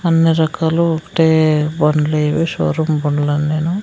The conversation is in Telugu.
అన్ని రకాలు ఒకటే బండ్లివి షోరూం బండ్లన్నీను.